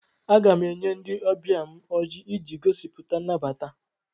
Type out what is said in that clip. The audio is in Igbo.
Aga m enye ndị ọbịa m ọjị iji gosipụta nnabata.